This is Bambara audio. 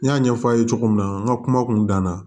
N y'a ɲɛfɔ aw ye cogo min na n ka kuma kun dan na